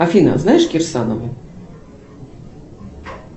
афина знаешь кирсанову